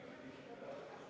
Istungi lõpp kell 13.22.